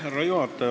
Härra juhataja!